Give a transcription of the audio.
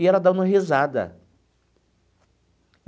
E ela dando risada.